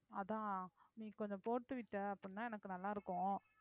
அதான் நீ கொஞ்சம் போட்டுவிட்ட அப்படின்னா எனக்கு நல்லா இருக்கும்